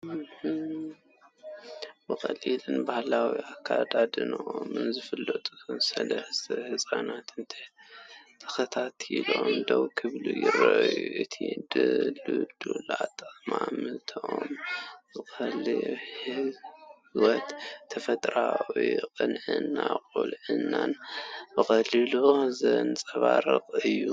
ብቐሊልን ባህላውን ኣከዳድናኦም ዝፍለጡ ሰለስተ ህጻናት፡ ተኸታቲሎም ደው ክብሉ ይረኣዩ። እቲ ድልዱል ኣጠማምታኦም ንቐሊልነት ህይወትን ተፈጥሮኣዊ ቅንዕና ቁልዕነትን ብቐሊሉ ዘንጸባርቕ እዩ።